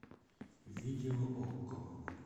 видео окко